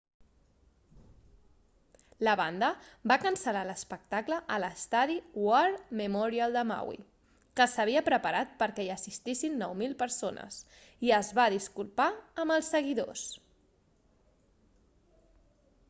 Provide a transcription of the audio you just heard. la banda va cancel·lar l'espectacle a l'estadi war memorial de maui que s'havia preparat perquè hi assistissin 9.000 persones i es va disculpar amb els seguidors